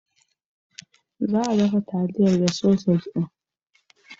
Za a dafa taliyar da sausajin.